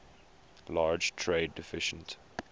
large trade deficit